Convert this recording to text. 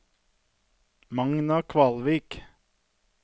Magna Kvalvik